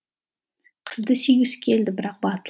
қызды сүйгісі келді бірақ